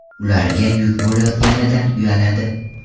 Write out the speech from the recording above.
Ularga yuk bo‘layotganidan uyaladi.